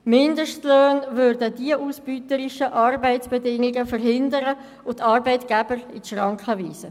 Mindestlöhne würden diese ausbeuterischen Arbeitsbedingungen verhindern und die Arbeitgeber in die Schranken weisen.